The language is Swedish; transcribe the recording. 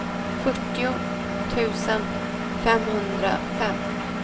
fyrtio tusen femhundrafem